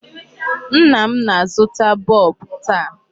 Nna m na-azụta bulb taa.